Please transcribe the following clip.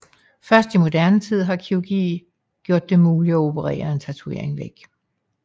Først i moderne tid har kirurgi gjort det muligt at operere en tatovering væk